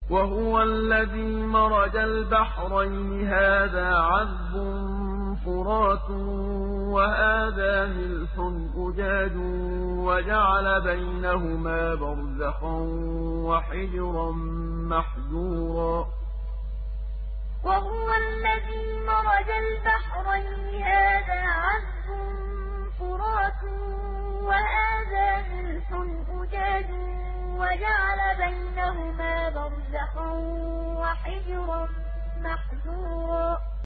۞ وَهُوَ الَّذِي مَرَجَ الْبَحْرَيْنِ هَٰذَا عَذْبٌ فُرَاتٌ وَهَٰذَا مِلْحٌ أُجَاجٌ وَجَعَلَ بَيْنَهُمَا بَرْزَخًا وَحِجْرًا مَّحْجُورًا ۞ وَهُوَ الَّذِي مَرَجَ الْبَحْرَيْنِ هَٰذَا عَذْبٌ فُرَاتٌ وَهَٰذَا مِلْحٌ أُجَاجٌ وَجَعَلَ بَيْنَهُمَا بَرْزَخًا وَحِجْرًا مَّحْجُورًا